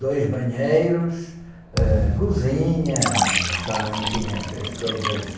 dois banheiros, ãh, cozinha, essa, enfim, essas coisas...